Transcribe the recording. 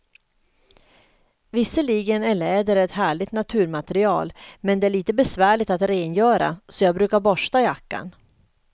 Visserligen är läder ett härligt naturmaterial, men det är lite besvärligt att rengöra, så jag brukar borsta jackan.